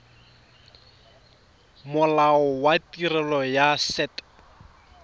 molao wa tirelo ya set